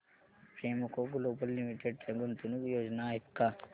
Premco global limited च्या गुंतवणूक योजना आहेत का